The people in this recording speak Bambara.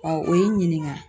o ye n ɲininka